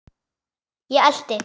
Ég elti.